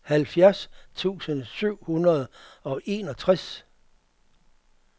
halvfjerds tusind syv hundrede og enogtres